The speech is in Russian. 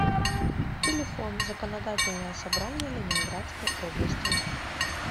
телефон законодательное собрание ленинградской области